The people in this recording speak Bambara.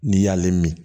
N'i y'ale min